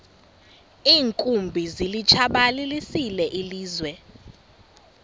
iinkumbi zilitshabalalisile ilizwe